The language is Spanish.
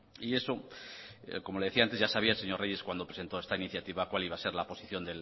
y eso como le decía antes ya sabía señor reyes cuando presentó esta iniciativa cuál iba a ser la posición